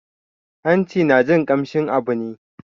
Hanci na jin kamshin abu ne